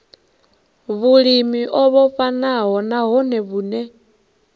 vhulimi o vhofhanaho nahone vhune